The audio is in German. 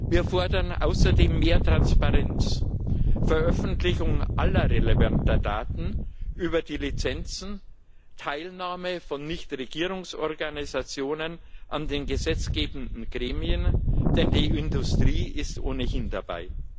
Wir fordern außerdem mehr Transparenz, die Veröffentlichung aller relevanten Daten über die Lizenzen und die Teilnahme von Nichtregierungsorganisationen an den gesetzgebenden Gremien, denn die Industrie ist ohnehin dabei.